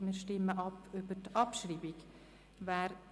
Wir stimmen über die Abschreibung ab.